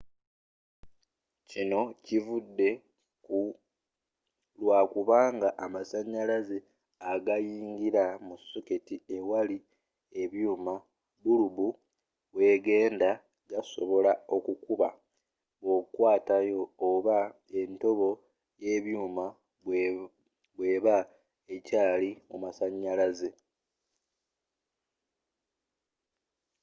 kinno kivude kulwakubanga amasanyalaze agayingira mu soketti ewali ebyuuma bulubu wegenda gasobola okukuba bwokwatayo oba entobo y'ebyuuma bweeba ekyaali mu masanyalaze